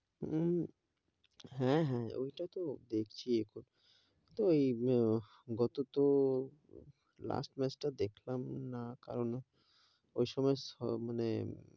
হম হেঁ, হেঁ ঐটা তো দেখছি এখন, ওই তো এই গত তো last match টা দেখলাম না, কারণ ওই সময় মানে,